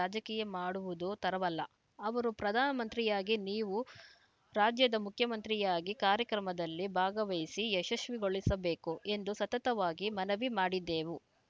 ರಾಜಕೀಯ ಮಾಡುವುದು ತರವಲ್ಲ ಅವರು ಪ್ರಧಾನಮಂತ್ರಿಯಾಗಿ ನೀವು ರಾಜ್ಯದ ಮುಖ್ಯಮಂತ್ರಿಯಾಗಿ ಕಾರ್ಯಕ್ರಮದಲ್ಲಿ ಭಾಗವಹಿಸಿ ಯಶಶ್ವಿಗೊಳಿಸಬೇಕು ಎಂದು ಸತತವಾಗಿ ಮನವಿ ಮಾಡಿದೆವು